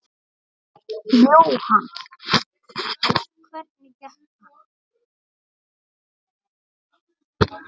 Jóhann: Hvernig gekk hann?